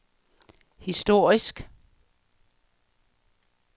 historisk